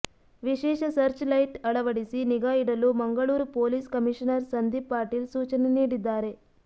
ವಿಶೇಷ search light ಅಳವಡಿಸಿ ನಿಗಾ ಇಡಲು ಮಂಗಳೂರು ಪೊಲೀಸ್ ಕಮೀಷನರ್ ಸಂದೀಪ್ ಪಾಟೀಲ್ ಸೂಚನೆ ನೀಡಿದ್ದಾರೆ